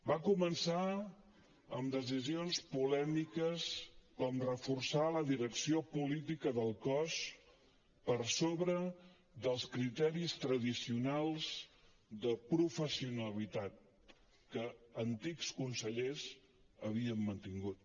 va començar amb decisions polèmiques com reforçar la direcció política del cos per sobre dels criteris tradicionals de professionalitat que antics consellers havien mantingut